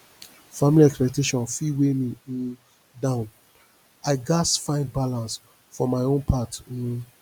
family expectations fit weigh me um down i gats find balance for my own path um